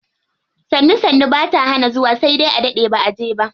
Sannu sannu bata hana zuwa sai dai a daɗe baʼa je ba.